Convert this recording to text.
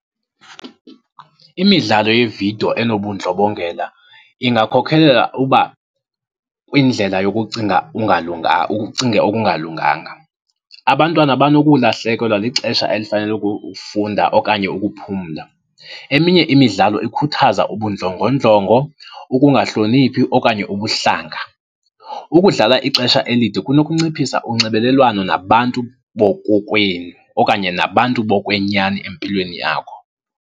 Imidlalo yeevidiyo enobundlobongela ingakhokhelela uba, kwindlela yokucinga ucinge okungalunganga. Abantwana banokulahlekelwa lixesha elifanele ukufunda okanye ukuphumla. Eminye imidlalo ikhuthaza ubundlongondlongo, ukungahloniphi okanye ubuhlanga. Ukudlala ixesha elide kunokunciphisa unxibelelwano nabantu bokokwenu okanye nabantu bokwenyani empilweni yakho.